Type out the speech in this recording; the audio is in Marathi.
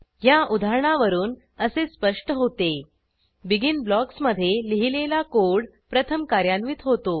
ह्या उदाहरणावरून असे स्पष्ट होते बेगिन ब्लॉक्समधे लिहिलेला कोड प्रथम कार्यान्वित होतो